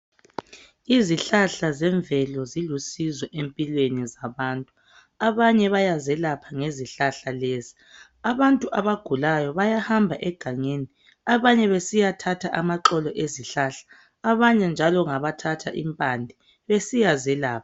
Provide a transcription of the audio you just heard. Izihlahla zemvelo zilusizo empilweni zabantu. Abanye bayazelapha ngezihlahla lezi. Abantu abagulayo bayahamba egangeni, abanye besiyathatha amaxolo ezihlahla. Abanye njalo ngabathatha impande besiyazelapha.